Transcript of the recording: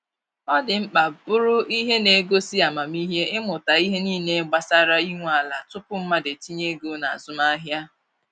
Ọ dị mkpa bụrụ ihe na-egosi amamihe ịmụta ihe niile gbasara inwe ala tupu mmadụ etinye ego na azụmahịa.